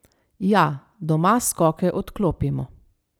Ja, doma skoke odklopimo.